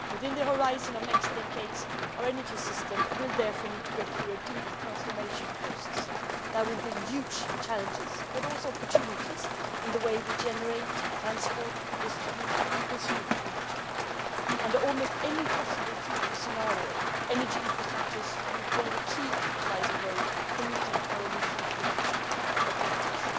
Within the next decades our energy system will therefore need to go through a deep transformation process that will bring huge challenges but also opportunities in the way we generate, transport, distribute and consume energy. In almost any possible future scenario, energy infrastructures will play the key role as a catalyst enabling us to meet our emission reduction objectives.